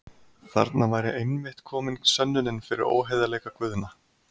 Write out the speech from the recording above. Þarna væri einmitt komin sönnunin fyrir óheiðarleika Guðna.